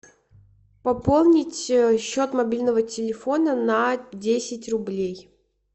пополнить счет мобильного телефона на десять рублей